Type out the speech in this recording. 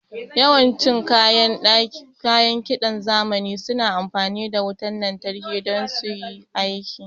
Yawan cin kayan kiɗan zamani suna amfani da wutan lantarki don suyi aiki